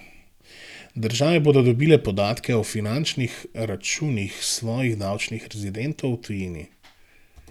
Države bodo dobile podatke o finančnih računih svojih davčnih rezidentov v tujini.